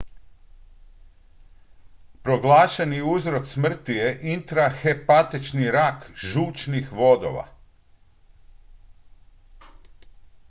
proglašeni uzrok smrti je intrahepatični rak žučnih vodova